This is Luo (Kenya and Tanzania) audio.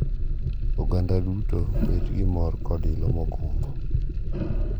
Oganda duto bet gi mor kod ilo mogundho.